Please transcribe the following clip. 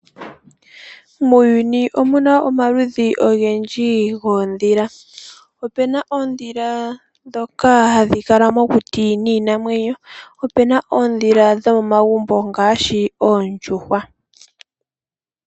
Muuyuni omuna omaludhi ogendji goondhila ,ope na oondhila dhoka hadhi kala mokuti ninamwenyo opena oodhila dhomomagumbo ngaashi oondjuhwa.